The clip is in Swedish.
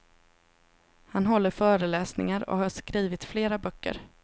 Han håller föreläsningar och har skrivit flera böcker.